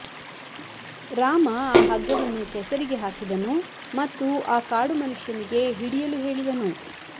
ರಾಮ ಆ ಹಗ್ಗವನ್ನು ಕೆಸರಿಗೆ ಹಾಕಿದನು ಮತ್ತು ಆ ಕಾಡು ಮನುಷ್ಯನಿಗೆ ಹಿಡಿಯಲು ಹೇಳಿದನು